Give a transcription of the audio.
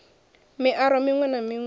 miaro miṅwe na miṅwe yo